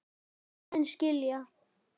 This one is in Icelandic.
Núna vil ég aðeins skilja.